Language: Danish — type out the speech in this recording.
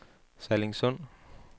Sallingsund